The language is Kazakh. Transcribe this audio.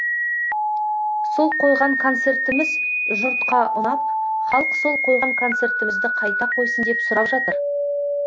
сол қойған концертіміз жұртқа ұнап халық сол қойған концертімізді қайта қойсын деп сұрап жатыр